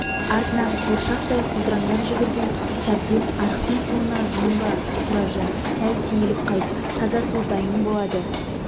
артынан қуыршақтай құлдыраңдап жүгірген сәбден арықтың суына жуынба тұраржан сәл сейіліп қайт таза су дайын болады